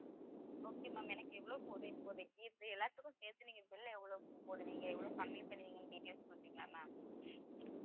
okay ma'am, எனக்கு இவ்ளோ போதும் இப்போதைக்கு எல்லாத்துக்கும் சேர்த்து, நீங்க bill ஐ எவ்வளவுக்கு போடுவீங்க எவ்வளவு கம்மி பண்ணுவீங்கன்னு details கொடுப்பிங்களா ma'am